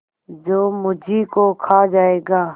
जो मुझी को खा जायगा